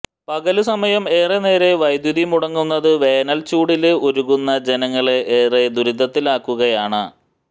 പകല്സമയം ഏറെനേരം വൈദ്യുതി മുടങ്ങുന്നതു വേനല്ച്ചൂടില് ഉരുകുന്ന ജനങ്ങളെ ഏറെ ദുരിതത്തിലാക്കുകയാണ്